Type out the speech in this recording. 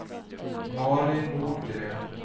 Mari Nordgren